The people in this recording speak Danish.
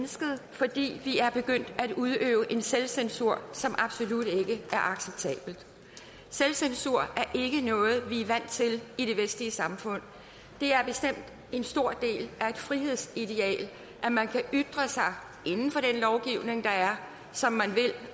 fordi vi er begyndt at udøve en selvcensur som absolut ikke er acceptabel selvcensur er ikke noget vi er vant til i de vestlige samfund det er bestemt en stor del af et frihedsideal at man kan ytre sig inden for den lovgivning der er som man vil